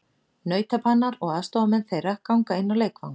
Nautabanar og aðstoðarmenn þeirra ganga inn á leikvang.